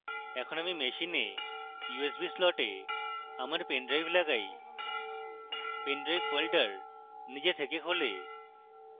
এখন আমি machine usb slot আমার pen drive লাগাই pen drive ফোল্ডার নিজে থেকে খোলে